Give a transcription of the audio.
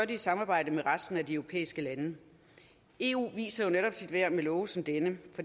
i samarbejde med resten af de europæiske lande eu viser jo netop sit værd med love som denne